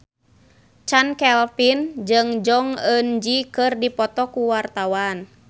Chand Kelvin jeung Jong Eun Ji keur dipoto ku wartawan